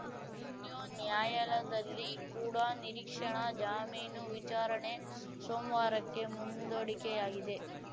ಇನ್ನ್ಯು ನ್ಯಾಯಾಲಯದಲ್ಲಿ ಕೂಡ ನಿರೀಕ್ಷಣಾ ಜಾಮೀನು ವಿಚಾರಣೆ ಸೋಮವಾರಕ್ಕೆ ಮುಂದೂಡಿಕೆಯಾಗಿದೆ